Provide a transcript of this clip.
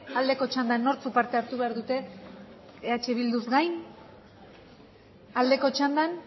aldeko txandan nortzuk parte hartu behar dute eh bilduz gain aldeko txandan